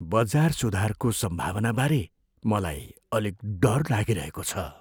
बजार सुधारको सम्भावनाबारे मलाई अलिक डर लागिरहेको छु।